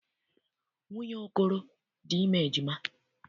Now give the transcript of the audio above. Nwunye Okoro dị ime ejima.